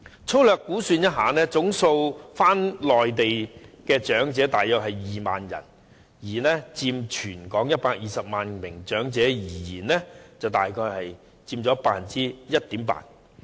粗略估算，返回內地的長者共約2萬人，以全港120萬名長者而言，約佔 1.8%。